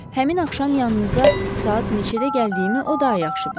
Həmin axşam yanınıza saat neçədə gəldiyimi o daha yaxşı bilər.